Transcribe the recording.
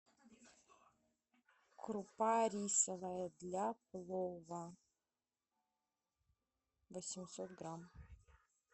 крупа рисовая для плова восемьсот грамм